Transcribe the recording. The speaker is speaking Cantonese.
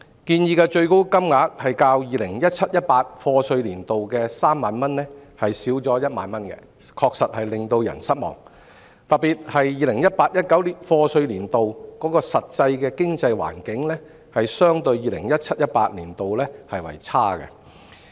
建議的最高金額較 2017-2018 課稅年度的3萬元減少1萬元，確實令人失望，特別是 2018-2019 課稅年度的實際經濟環境相對 2017-2018 年度為差。